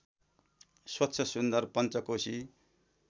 स्वच्छ सुन्दर पञ्चकोसी